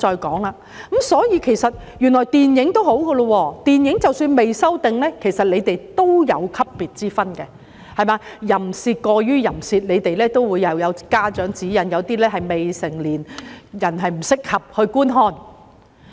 電影其實已算不錯，即使尚未修訂，也有等級之分，過於淫褻的內容也會要求提供家長指引，有些甚至說明未成年人士不適合觀看。